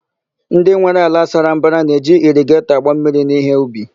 Ndị nwere ala sara mbara na-eji irigetọ agba mmiri n'íhé ubi.